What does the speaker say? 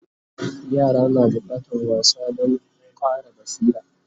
yara na da bukatan wasa Dan Ƙara basira